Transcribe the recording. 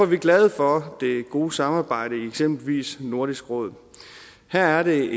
vi glade for det gode samarbejde i eksempelvis nordisk råd her er